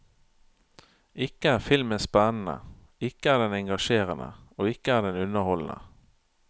Ikke er filmen spennende, ikke er den engasjerende og ikke er den underholdende.